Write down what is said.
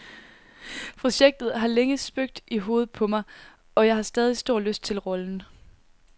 Projektet har længe spøgt i hovedet på mig, og jeg har stadig stor lyst til rollen.